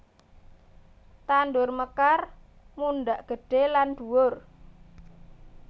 Tandur mekar mundhak gedhe lan dhuwur